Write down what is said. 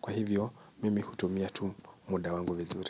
Kwa hivyo, mimi hutumia tu muda wangu vizuri.